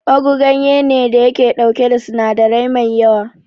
ugu ganye ne da yake dauke da sinadirai mai yawa.